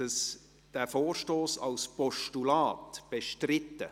Ist der Vorstoss als Postulat bestritten?